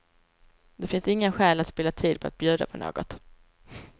Det finns inga skäl att spilla tid på att bjuda på något.